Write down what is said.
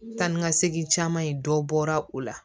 Taa ni ka segin caman in dɔ bɔra o la